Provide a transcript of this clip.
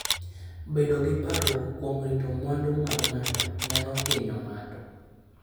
Bedo gi parruok kuom rito mwandu mag ng'ato nyalo hinyo ng'ato.